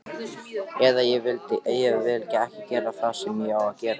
Eða vill ekki gera það sem það á að gera.